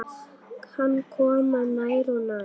Hann kom nær og nær.